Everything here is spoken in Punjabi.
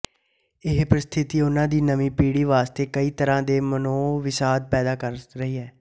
ਇਹ ਪਰਿਸਥਿਤੀ ਉਹਨਾਂ ਦੀ ਨਵੀਂ ਪੀੜ੍ਹੀ ਵਾਸਤੇ ਕਈ ਤਰ੍ਹਾਂ ਦੇ ਮਨੋਵਿਸ਼ਾਦ ਪੈਦਾ ਕਰ ਰਹੀ ਹੈ